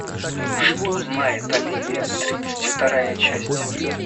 что знает оливия тридцать вторая часть